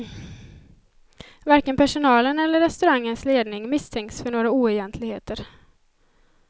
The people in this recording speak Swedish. Varken personalen eller restaurangens ledning misstänks för några oegentligheter.